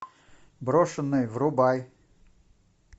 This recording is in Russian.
брошенные врубай